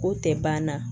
O tɛ ban na